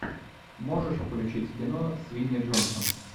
можешь включить кино с винни джонсом